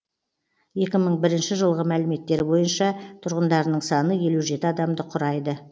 екі мың бірінші жылғы мәліметтер бойынша тұрғындарының саны елу жеті адамды құрайды